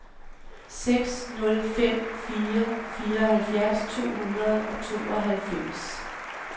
seks nul fem fire fireoghalvfjerds to hundrede og tooghalvfems